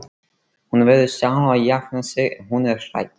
Hún verður sjálf að jafna sig ef hún er hrædd.